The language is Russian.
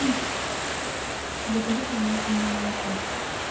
закажи пожалуйста мне молоко